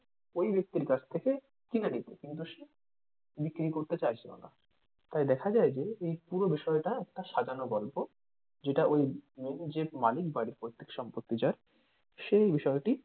ওই ব্যক্তির কাছ থেকে কিনে নিতে কিন্তু সে বিক্রি করতে চাইছিলোনা তাই দেখা যায় যে এই পুরো বিষয়টা একটা সাজানো গল্প যেটা ওই উম main যে মালিক বাড়ির পৈতৃক সম্পত্তি যার সে এই বিষয়টি,